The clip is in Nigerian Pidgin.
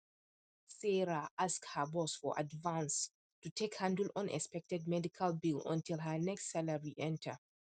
sarah ask her boss for advance to take handle unexpected medical bill until her next salary salary enter